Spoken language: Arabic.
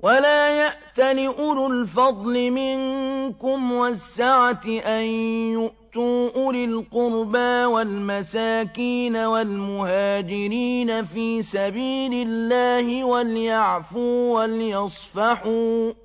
وَلَا يَأْتَلِ أُولُو الْفَضْلِ مِنكُمْ وَالسَّعَةِ أَن يُؤْتُوا أُولِي الْقُرْبَىٰ وَالْمَسَاكِينَ وَالْمُهَاجِرِينَ فِي سَبِيلِ اللَّهِ ۖ وَلْيَعْفُوا وَلْيَصْفَحُوا ۗ